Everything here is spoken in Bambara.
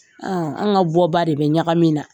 An ka bɔ ba de bɛ ɲagami na.